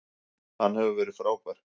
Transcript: Hann hefur verið frábær.